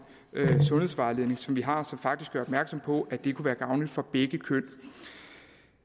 sundhedsvejledning som vi har og som faktisk gør opmærksom på at det kunne være gavnligt for begge køn